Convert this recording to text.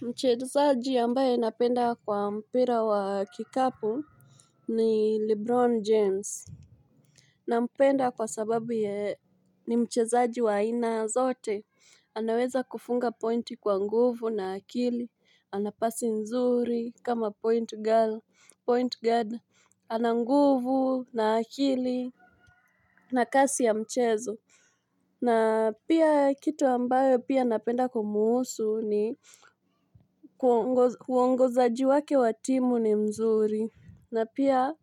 Mchezaji ambaye napenda kwa mpira wa kikapu ni Lebron James. Nampenda kwa sababu yeye ni mchezaji wa haina zote. Anaweza kufunga pointi kwa nguvu na akili. Ana pasi nzuri kama point guard. Ana nguvu na akili na kasi ya mchezo. Na pia kitu ambayo pia napenda kumhusu ni huongozaji wake wa timu ni mzuri. Na pia